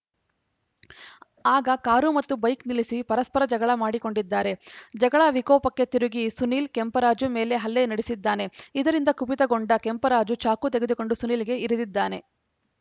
ಆಗ ಕಾರು ಮತ್ತು ಬೈಕ್‌ ನಿಲ್ಲಿಸಿ ಪರಸ್ಪರ ಜಗಳ ಮಾಡಿಕೊಂಡಿದ್ದಾರೆ ಜಗಳ ವಿಕೋಪಕ್ಕೆ ತಿರುಗಿ ಸುನೀಲ್‌ ಕೆಂಪರಾಜು ಮೇಲೆ ಹಲ್ಲೆ ನಡೆಸಿದ್ದಾನೆ ಇದರಿಂದ ಕುಪಿತಗೊಂಡ ಕೆಂಪರಾಜು ಚಾಕು ತೆಗೆದುಕೊಂಡು ಸುನೀಲ್‌ಗೆ ಇರಿದಿದ್ದಾನೆ